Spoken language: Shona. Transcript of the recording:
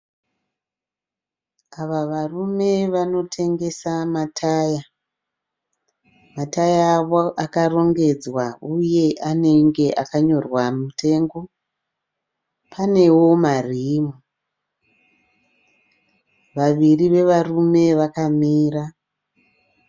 Ava varume vanotengesa mataya. Mataya avo akarongedzwa uye anenge akanyorwa mutengo. Panewo marimu. Vaviri vevarume vakamira.